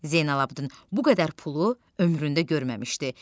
Zeynalabidin bu qədər pulu ömründə görməmişdi.